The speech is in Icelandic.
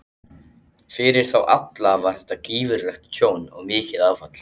Fyrir þá alla var þetta gífurlegt tjón og mikið áfall.